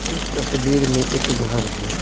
इस तस्वीर में एक घर है।